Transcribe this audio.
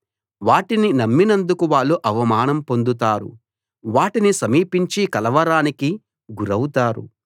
వాటిని నమ్మినందుకు వాళ్ళు అవమానం పొందుతారు వాటిని సమీపించి కలవరానికి గురౌతారు